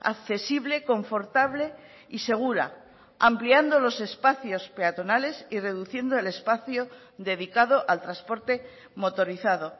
accesible confortable y segura ampliando los espacios peatonales y reduciendo el espacio dedicado al transporte motorizado